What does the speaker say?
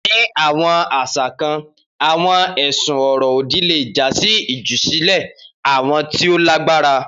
Ni awọn aṣa kan, awọn ẹsun ọrọ-odi le ja si ijusile awujọ ti o lagbara.